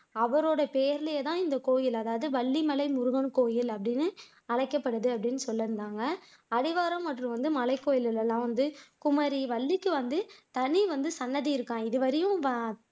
அவரோட பேர்லயே தான் இந்த கோயில் அதாவது வள்ளிமலை முருகன் கோயில் அப்படின்னு அழைக்கப்படுது அப்படின்னு சொல்லியிருந்தாங்க அடிவாரம் மற்றும் மலைக்கோயில் எல்லாம் வந்து குமரி வள்ளிக்கு வந்து தனி வந்து சன்னதி இருக்காம் இதுவரையும்